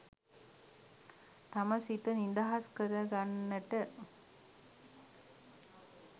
තම සිත නිදහස් කරගන්නට